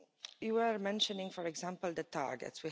You were mentioning, for example the targets.